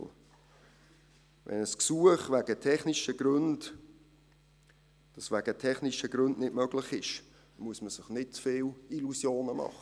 Wenn ein Gesuch wegen technischer Gründe nicht möglich ist, muss man sich nicht zu viele Illusionen machen.